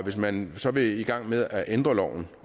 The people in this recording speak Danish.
hvis man så vil i gang med at ændre loven